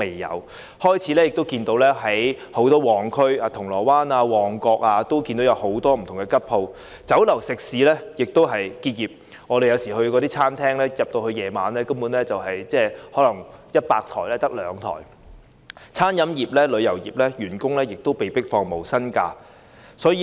我們開始在許多旺區，例如銅鑼灣和旺角，看到很多"吉鋪"，酒樓食肆結業，我們有時在晚上到餐廳用膳，可能發現100桌中只有2桌客人，餐飲業和旅遊業的員工亦被迫放取無薪假期。